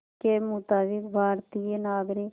के मुताबिक़ भारतीय नागरिक